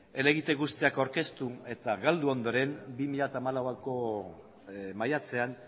helegite guztiak aurkeztu eta galdu ondoren bi mila hamalauko maiatzean